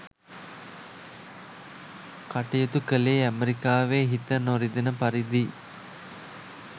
කටයුතු කළේ ඇමරිකාවෙ හිත නොරිදෙන පරිදි